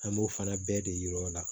An b'o fana bɛɛ de yir'u la